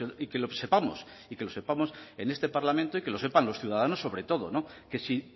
y que lo sepamos y que lo sepamos en este parlamento y que lo sepan los ciudadanos sobre todo que si